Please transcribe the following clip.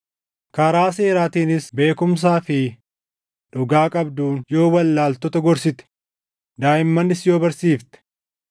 karaa seeraatiinis beekumsaa fi dhugaa qabduun yoo wallaaltota gorsite, daaʼimmanis yoo barsiifte,